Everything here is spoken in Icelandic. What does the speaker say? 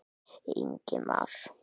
Ingi Már.